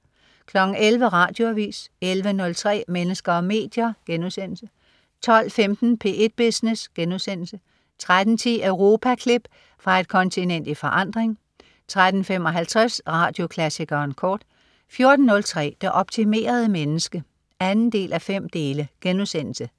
11.00 Radioavis 11.03 Mennesker og medier* 12.15 P1 Business* 13.10 Europaklip. Fra et kontinent i forandring 13.55 Radioklassikeren kort 14.03 Det optimerede menneske 2:5*